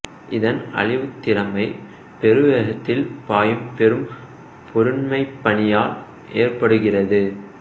இதன் அழிவுத் திறமை பெருவேகத்தில் பாயும் பெரும்பொருண்மைப் பனியால் ஏற்படுகிறது